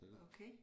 Okay